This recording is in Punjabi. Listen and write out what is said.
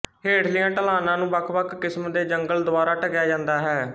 ਹੇਠਲੀਆਂ ਢਲਾਣਾਂ ਨੂੰ ਵੱਖਵੱਖ ਕਿਸਮ ਦੇ ਜੰਗਲ ਦੁਆਰਾ ਢਕਿਆ ਜਾਂਦਾ ਹੈ